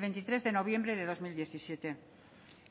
veintitrés de noviembre de dos mil diecisiete